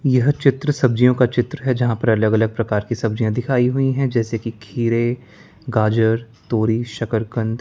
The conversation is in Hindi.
यह चित्र सब्जियों का चित्र है जहां पर अलग अलग प्रकार की सब्जियां दिखाई हुई हैं जैसे कि खीरे गाजर तोरी शकरकंद।